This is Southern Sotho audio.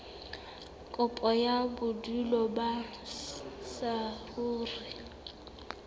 kopo ya bodulo ba saruri